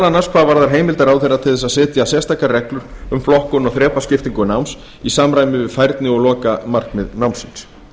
annars hvað varðar heimildir ráðherra til að setja sérstakar reglur um flokkun og þrepaskiptingu náms í samræmi við færni og lokamarkmið námsins